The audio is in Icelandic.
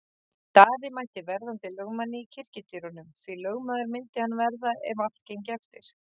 Daði mætti verðandi lögmanni í kirkjudyrunum, því lögmaður myndi hann verða ef allt gengi eftir.